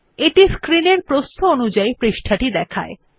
এটি স্ক্রিন এর প্রস্থ অনুযাই পৃষ্ঠা টি দেখায়